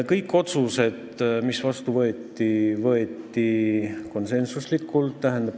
Kõik otsused, mis vastu võeti, tehti konsensuslikult.